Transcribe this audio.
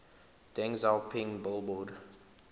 deng xiaoping billboard